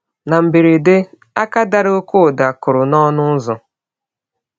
Na mberede, aka dara ọké ụda kụrụ n’ọnụ ụzọ.